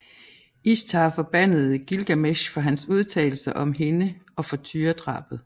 Ishtar forbandede Gilgamesh for hans udtalelser om hende og for tyredrabet